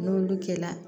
N'olu kɛla